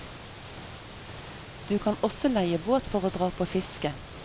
Du kan også leie båt for å dra på fiske.